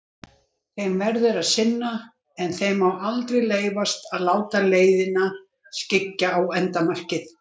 Þeim verður að sinna, en þeim má aldrei leyfast að láta leiðina skyggja á endamarkið.